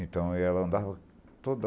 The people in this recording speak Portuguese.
Então, ela andava toda...